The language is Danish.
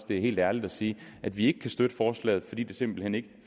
det er helt ærligt at sige at vi ikke kan støtte forslaget fordi der simpelt hen ikke